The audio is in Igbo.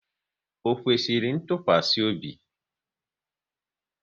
Ọ kwesịrị ntụkwasị obi?